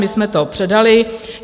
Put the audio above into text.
My jsme to předali.